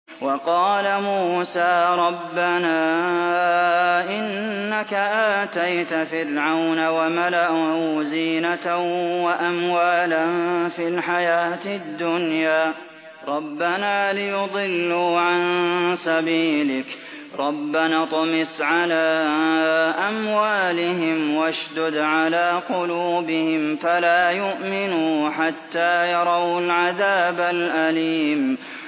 وَقَالَ مُوسَىٰ رَبَّنَا إِنَّكَ آتَيْتَ فِرْعَوْنَ وَمَلَأَهُ زِينَةً وَأَمْوَالًا فِي الْحَيَاةِ الدُّنْيَا رَبَّنَا لِيُضِلُّوا عَن سَبِيلِكَ ۖ رَبَّنَا اطْمِسْ عَلَىٰ أَمْوَالِهِمْ وَاشْدُدْ عَلَىٰ قُلُوبِهِمْ فَلَا يُؤْمِنُوا حَتَّىٰ يَرَوُا الْعَذَابَ الْأَلِيمَ